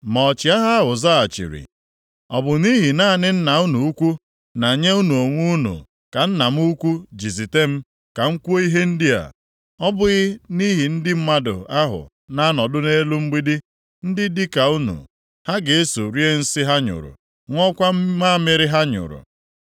Ma ọchịagha ahụ zaghachiri, “Ọ bụ nʼihi naanị nna unu ukwu na nye unu onwe unu ka nna m ukwu ji zite m, ka m kwuo ihe ndị a? Ọ bụghị nʼihi ndị mmadụ ahụ na-anọdụ nʼelu mgbidi, ndị, dịka unu, ha ga-eso rie nsị ha nyụrụ, ṅụọkwa mamịrị ha nyụrụ?”